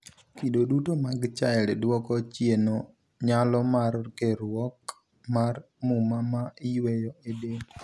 Kido duto mag chiLD duoko chieno nyalo mar keruok mar muma ma iyueyo e del.